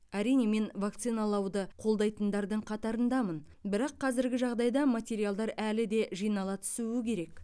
әрине мен вакциналауды қолдайтындардың қатарындамын бірақ қазіргі жағдайда материалдар әлі де жинала түсуі керек